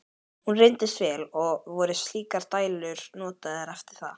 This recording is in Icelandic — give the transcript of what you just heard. Hún reyndist vel, og voru slíkar dælur notaðar eftir það.